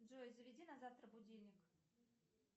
джой заведи на завтра будильник